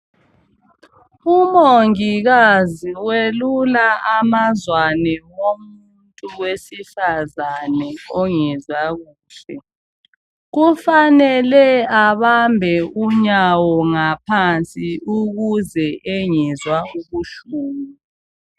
Umongikazi welula amazwane womuntu owesifazane ongezwa kuhle. Kufanele abambe unyawo ngaphansi ukuze engezwa ubuhlungu.